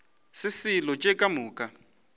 se selo tše ka moka